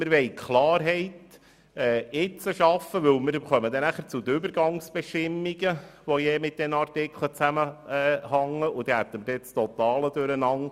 Wir wollen jetzt Klarheit schaffen, denn nachher kommen wir zu den Übergangsbestimmungen, die mit diesen Artikeln zusammenhängen, und dort hätten wir dann das totale Durcheinander.